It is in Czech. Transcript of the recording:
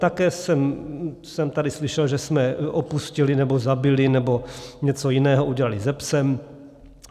Také jsem tady slyšel, že jsme opustili nebo zabili nebo něco jiného udělali se "psem".